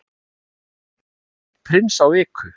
Ómar borðar eitt Prins á viku